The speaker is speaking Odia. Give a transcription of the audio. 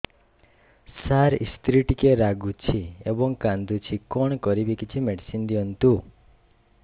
ସାର ସ୍ତ୍ରୀ ଟିକେ ରାଗୁଛି ଏବଂ କାନ୍ଦୁଛି କଣ କରିବି କିଛି ମେଡିସିନ ଦିଅନ୍ତୁ